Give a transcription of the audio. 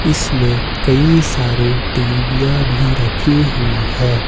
इसमें कई सारे टीवीयाँ भी रखी हुई है।